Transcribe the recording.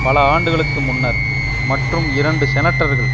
பல ஆண்டுகளுக்கு முன்னர் மற்றும் இரண்டு செனட்டர்கள்